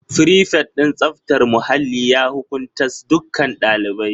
Frifet din tsaftar muhalli ya hukuntas dukkan ɗaliban